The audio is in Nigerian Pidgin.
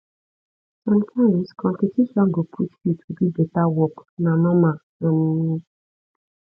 sometimes competition go push you to do better work na normal um